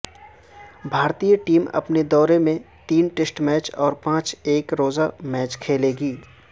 بھارتی ٹیم اپنے دورے میں تین ٹیسٹ میچ اور پانچ ایک روزہ میچ کھیلے گی